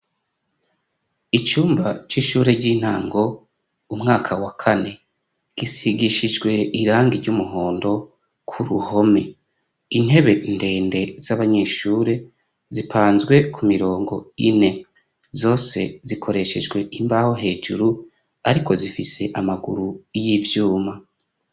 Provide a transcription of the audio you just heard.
Icumba c'ishure ry'intango umwaka wa kane, gisigishijwe irangi ry'umuhondo ku ruhome, intebe ndende z'abanyeshure zipanzwe ku mirongo ine, zose zikoreshejwe imbaho hejuru ariko zifise amaguru y'ivyuma.